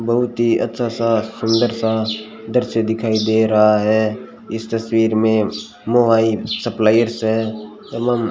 बहुत ही अच्छा सा सुंदर सा दृश्य दिखाई दे रहा है इस तस्वीर में मोबाइल सप्लायर्स है एवं --